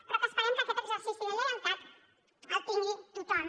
però que esperem que aquest exercici de lleialtat el tingui tothom